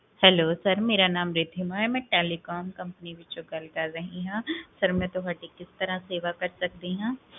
Hello sir, ਮੇਰਾ ਨਾਮ ਰੀਧਿਮਾ ਹੈ, ਮੈਂ telecom company ਵਿਚੋਂ ਗਲ ਕਰ ਰਹੀ ਹਾਂ ਫੇਰ ਮੈਂ ਤੁਹਾਡੀ ਕਿਸ ਤਰਹ ਸੇਵਾ ਕਰ ਸਕਦੀ ਹਾਂ?